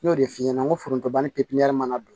N y'o de f'i ɲɛna n ko forontobɔn ni pipiniyɛri mana don